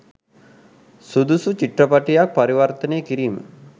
සුදුසු චිත්‍රපටයක් පරිවර්තනය කිරීම